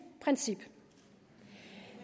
princip